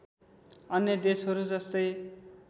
अन्य देशहरू जस्तै